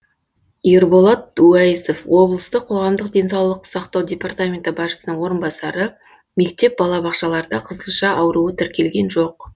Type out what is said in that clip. ерболат уәйісов облыстық қоғамдық денсаулық сақтау департаменті басшысының орынбасары мектеп балабақшаларда қызылша ауруы тіркелген жоқ